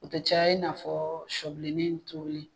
O tɛ caya i n'a fɔ shɔbilenin in tobili.